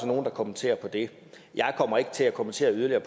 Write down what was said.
nogle der kommenterer det jeg kommer ikke til at kommentere